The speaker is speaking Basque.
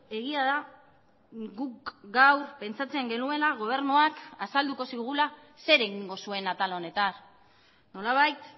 egia da guk gaur pentsatzen genuela gobernuak azalduko zigula zer egingo zuen atal honetan nolabait